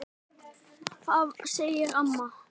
Það var ekkert, segir mamma.